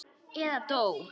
Eða dó.